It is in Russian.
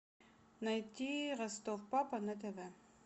найти ростов папа на тв